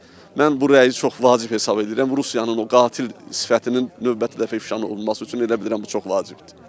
Mən bu rəyi çox vacib hesab eləyirəm Rusiyanın o qatil sifətinin növbəti dəfə ifşa olunması üçün elə bilirəm bu çox vacibdir.